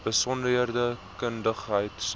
besonderse kundigheid sou